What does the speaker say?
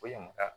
Ko ɲamakala